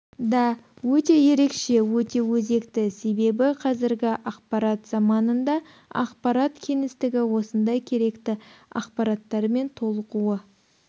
да өте ерекше өте өзекті себебі қазіргі ақпарат заманында ақпарат кеңістігі осындай керекті ақпараттармен толығуы